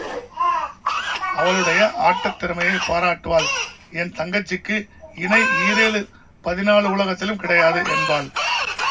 அவளுடைய ஆட்டத் திறமையைப் பாராட்டுவாள் என் தங்கச்சிக்கு இணை ஈரேழு பதினாலு உலகத்திலும் கிடையாது என்பாள்